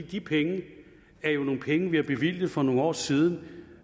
de penge er jo nogle penge vi har bevilget for nogle år siden og